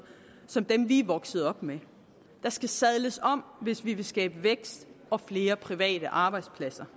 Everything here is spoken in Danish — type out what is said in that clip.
som dem vi er vokset op med der skal sadles om hvis vi vil skabe vækst og flere private arbejdspladser